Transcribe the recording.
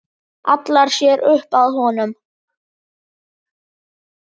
Hallar sér upp að honum.